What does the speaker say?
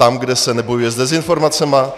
Tam, kde se nebojuje s dezinformacemi?